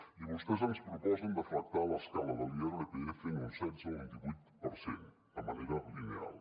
i vostès ens proposen deflactar l’escala de l’irpf en un setze o un divuit per cent de manera lineal